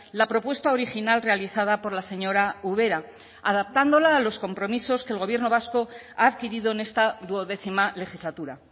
la propuesta original realizada por la señora ubera adaptándola a los compromisos que el gobierno vasco ha adquirido en esta duodécima legislatura